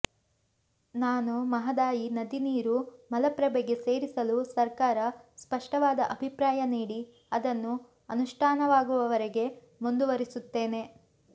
ನಾನು ಮಹದಾಯಿ ನದಿ ನೀರು ಮಲಪ್ರಭೆಗೆ ಸೇರಿಸಲು ಸರ್ಕಾರ ಸ್ಪಷ್ಟವಾದ ಅಭಿಪ್ರಾಯ ನೀಡಿ ಅದನ್ನು ಅನುಷ್ಟಾನವಾಗುವವರೆಗೆ ಮುಂದುವರೆಸುತ್ತೇನೆ